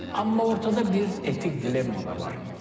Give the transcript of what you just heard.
Amma ortada bir etik dilemma da var.